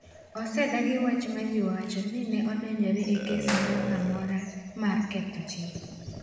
Osedagi wach ma ji wacho ni ne odonjore e kes moro amora mar ketho chik.